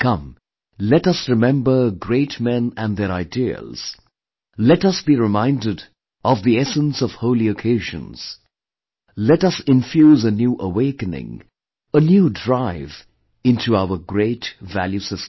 Come, let us remember great men & their ideals; let us be reminded of the essence of holy occasions; let us infuse a new awakening, a new drive into our great value system